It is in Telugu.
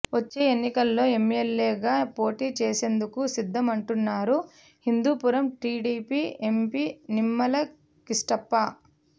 వచ్చే ఎన్నికల్లో ఎమ్మెల్యేగా పోటీ చేసేందుకు సిద్ధమంటున్నారు హిందూపురం టీడీపీ ఎంపీ నిమ్మల కిష్టప్ప